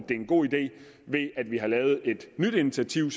det er en god idé ved at vi har lavet et nyt initiativ